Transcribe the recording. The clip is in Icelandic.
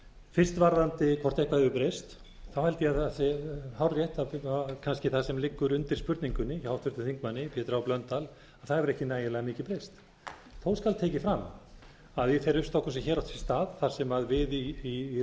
fyrst varðandi hvort eitthvað hefur breyst þá held ég að það sé hárrétt að kannski það sem liggur undir spurningunni hjá háttvirtum þingmanni pétri h blöndal að það hefur ekki nægilega mikið breyst þó skal tekið fram að í þeirri uppstokkun sem hér átti sér stað þar sem við í